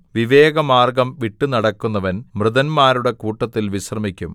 വിവേകമാർഗ്ഗം വിട്ടുനടക്കുന്നവൻ മൃതന്മാരുടെ കൂട്ടത്തിൽ വിശ്രമിക്കും